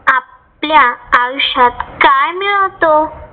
आपल्या आयुष्यात काय मिळवतो?